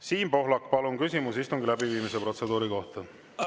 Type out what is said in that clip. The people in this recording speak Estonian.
Siim Pohlak, palun, küsimus istungi läbiviimise protseduuri kohta!